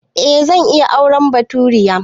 Eh zan iya auren baturiya